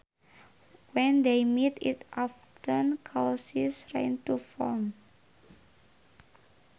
When they meet it often causes rain to form